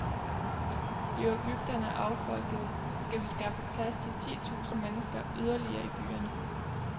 Bliver bygderne affolkede, skal vi skaffe plads til ti tusinde mennesker yderligere i byerne.